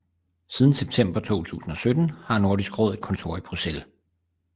Siden september 2017 har Nordisk Råd et kontor i Bruxelles